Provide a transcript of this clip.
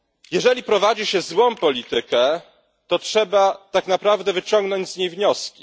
Jeżeli prowadzi się złą politykę, to trzeba tak naprawdę wyciągnąć z niej wnioski.